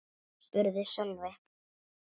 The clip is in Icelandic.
spurði Sölvi.